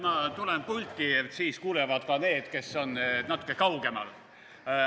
Ma tulen pulti, siis kuulevad ka need, kes on natuke kaugemal.